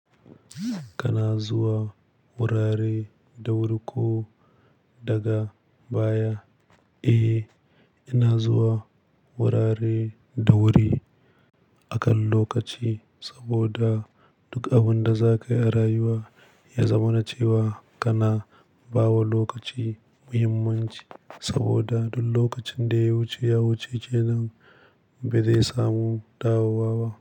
Kana zuwa wurare da wuri ko daga baya? Eh, ina zuwa wurare da wuri akan lokaci saboda duk abin da za ka yi a rayuwa ya zamana cewa kana bawa lokaci muhimmanci saboda duk lokacin da ya wuce, ya wuce kenan ba zai samu dawowa ba.